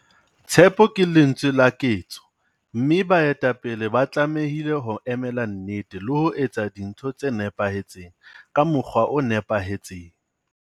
Tshepo ke lentswe la ketso, mme baetapele ba tlamehile ho emela nnete le ho etsa dintho tse nepahetseng ka mokgwa o nepahetseng!